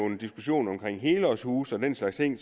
en diskussion omkring helårshuse og den slags ting